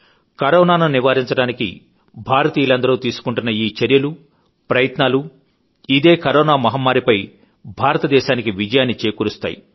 కరోనాను నివారించడానికి భారతీయులందరూ తీసుకుంటున్న ఈచర్యలూ చేస్తున్న ప్రయత్నాలూ ఇదే కరోనా మహమ్మారిపై భారతదేశానికి విజయాన్ని చేకూరుస్తాయి